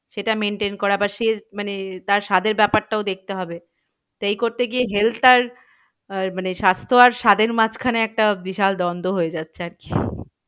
সেটা maintain করা বা মানে তার স্বাদের ব্যাপারটাও দেখতে হবে। সেই করতে গিয়ে health আর আহ মানে স্বাস্থ্য আর স্বাদের মাঝখানে একটা বিশাল দ্বন্দ হয়ে যাচ্ছে আর কি